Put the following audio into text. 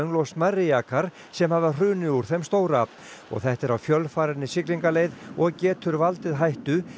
og smærri jakar sem hafa hrunið úr þeim stóra og þetta er á fjölfarinni siglingaleið og getur valdið hættu